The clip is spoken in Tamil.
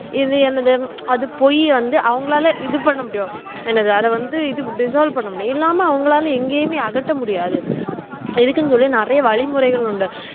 இது என்னது அது பொய் வந்து அவங்களால இது பண்ணமுடியும் என்னது அத வந்து dissolve பண்ணமுடியும் இல்லாமஅவங்களால எங்கேயுமே அகற்றமுடியாது இதுக்குன்னு சொல்லி நெறைய வழிமுரைகள் உண்டு